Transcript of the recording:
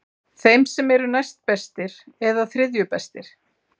Þeim sem eru næstbestir eða þriðju bestir?